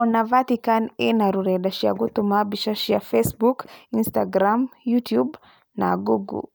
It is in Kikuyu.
Ona Vatican ina rũrenda cia gũtũma mbica cia Facebook, Instagram ,Youtube na Google+.